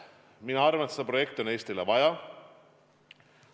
Mina arvan, et seda projekti on Eestile vaja.